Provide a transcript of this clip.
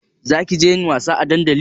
Zakije yin wasa a dandali?